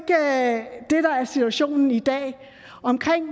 det er der er situationen i dag